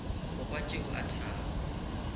go kwa tšeo a thaba